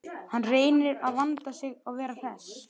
Hann reynir að vanda sig og vera hress.